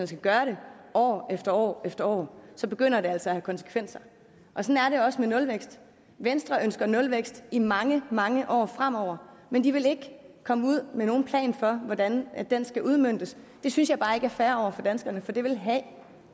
skal gøre det år efter år efter år begynder det altså at have konsekvenser og sådan er det også med nulvækst venstre ønsker nulvækst i mange mange år fremover men de vil ikke komme ud med nogen plan for hvordan den skal udmøntes det synes jeg bare ikke er fair over for danskerne for det vil have